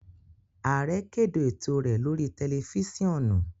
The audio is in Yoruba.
Aare kede eto rẹ lori tẹlifisiọnu.